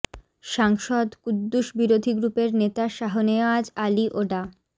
সাংসদ কুদ্দুস বিরোধী গ্রুপের নেতা শাহনেওয়াজ আলী ও ডা